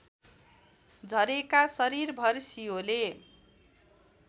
झरेका शरीरभर सियोले